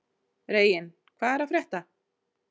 Reginn, hvað er að frétta?